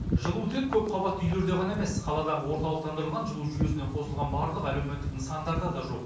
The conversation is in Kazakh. жылу тек көпқабатты үйлерде ғана емес қаладағы орталықтандырылған жылу жүйесіне қосылған барлық әлеуметтік нысандарда да жоқ жоқ